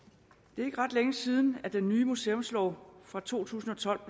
det er ikke ret længe siden at den nye museumslov fra to tusind og tolv